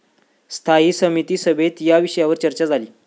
स्थायी समिती सभेत या विषयावर चर्चा झाली.